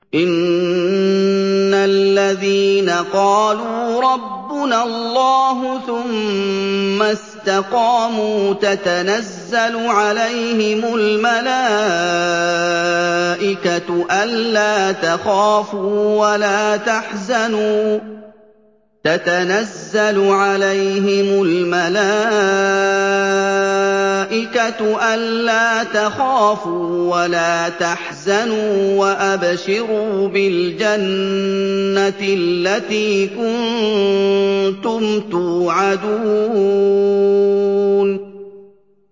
إِنَّ الَّذِينَ قَالُوا رَبُّنَا اللَّهُ ثُمَّ اسْتَقَامُوا تَتَنَزَّلُ عَلَيْهِمُ الْمَلَائِكَةُ أَلَّا تَخَافُوا وَلَا تَحْزَنُوا وَأَبْشِرُوا بِالْجَنَّةِ الَّتِي كُنتُمْ تُوعَدُونَ